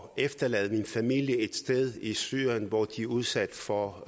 at efterlade min familie et sted i syrien hvor de bliver udsat for